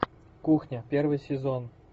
кухня первый сезон